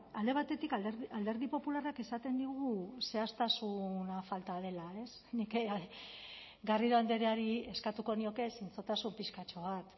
alde batetik alderdi popularrak esaten digu zehaztasuna falta dela nik garrido andreari eskatuko nioke zintzotasun pixkatxo bat